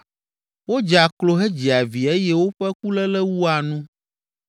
Wodzea klo hedzia vi eye woƒe kuléle wua nu.